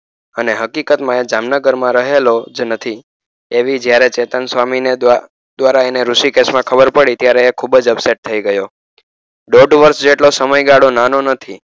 અને હકીકત માં એ જામનગર માં રહેલો જ નથી એવી જયારે ચેતન સ્વામી ને દ્વારા એને ઋષિ કેશ માં ખબર પડી ત્યારે તે ખુબ જ upset થઈ ગયો દોઢ વર્ષ જેટલો સમયગાળો નાનો નથી.